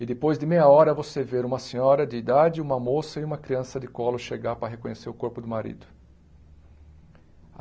E depois de meia hora você ver uma senhora de idade, uma moça e uma criança de colo chegar para reconhecer o corpo do marido.